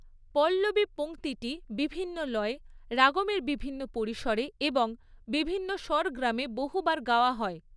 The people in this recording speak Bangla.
পল্লবী পংক্তিটি বিভিন্ন লয়ে, রাগমের বিভিন্ন পরিসরে এবং বিভিন্ন স্বরগ্রামে বহুবার গাওয়া হয়।